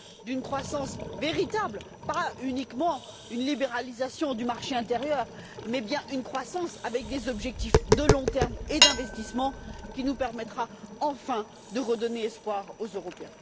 d'une croissance véritable pas uniquement une libéralisation du marché intérieur, mais bien une croissance avec des objectifs de long terme et d'investissement qui nous permettra enfin de redonner espoir aux Européens.